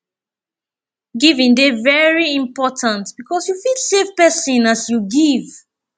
giving de very important because you fit save persin as you give